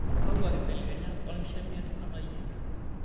Kakua kibelekenyat olkishamiet atayiolo?